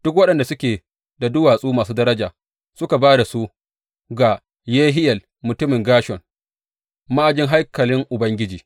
Duk waɗanda suke da duwatsu masu daraja suka ba da su ga Yehiyel mutumin Gershon ma’ajin haikalin Ubangiji.